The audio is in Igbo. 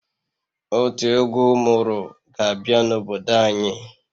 Otu egwu ụmụrụ ga-abịa n'obodo anyị